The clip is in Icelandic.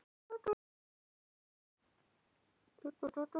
Þeir bundu draslið á hjólin og reyndu að láta ekki heyrast hljóð frá sér.